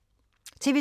TV 2